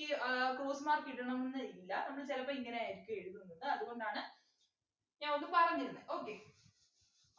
ഈ ആഹ് cross mark ഇടണംന്ന് ഇല്ല നമ്മള് ചിലപ്പോ ഇങ്ങനെയായിരിക്കും എഴുതുന്നത് അതുകൊണ്ടാണ് ഞാൻ ഒന്ന് പറഞ്ഞു തന്നെ okay